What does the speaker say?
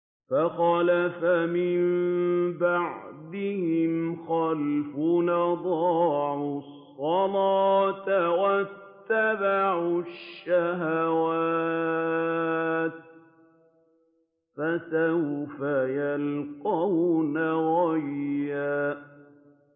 ۞ فَخَلَفَ مِن بَعْدِهِمْ خَلْفٌ أَضَاعُوا الصَّلَاةَ وَاتَّبَعُوا الشَّهَوَاتِ ۖ فَسَوْفَ يَلْقَوْنَ غَيًّا